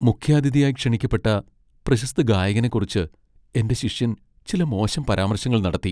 മുഖ്യാതിഥിയായി ക്ഷണിക്കപ്പെട്ട പ്രശസ്ത ഗായകനെ കുറിച്ച് എന്റെ ശിഷ്യൻ ചില മോശം പരാമർശങ്ങൾ നടത്തി.